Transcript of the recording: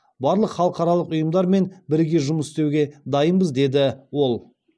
барлық халықаралық ұйымдармен біріге жұмыс істеуге дайынбыз дейді ол